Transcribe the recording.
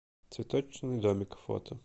цветочный домик фото